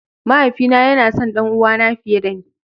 Mahaifi na yana son ɗanuwa na fiye da ni.